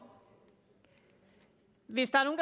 hvis der er